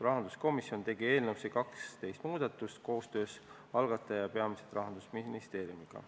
Rahanduskomisjon tegi eelnõus 12 muudatust koostöös algataja, peamiselt Rahandusministeeriumiga.